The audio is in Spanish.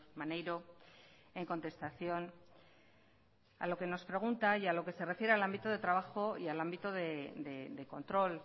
maneiro en contestación a lo que nos pregunta y a lo que se refiere al ámbito de trabajo y al ámbito de control